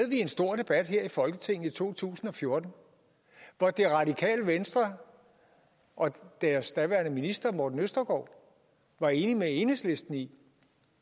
vi en stor debat her i folketinget i to tusind og fjorten hvor det radikale venstre og deres daværende minister morten østergaard var enige med enhedslisten i